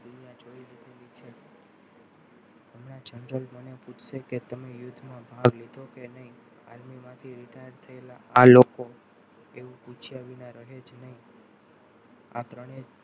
હમણાં general મને પૂછે કે તમે યુદ્ધમાં ભાગ લીધો કે નહીં army માટે retired થયેલા આ લોકો એવું પૂછા વિના રહે જ નહી આ ત્રણેય